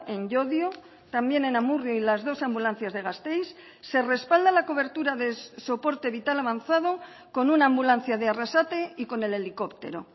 en llodio también en amurrio y las dos ambulancias de gasteiz se respalda la cobertura de soporte vital avanzado con una ambulancia de arrasate y con el helicóptero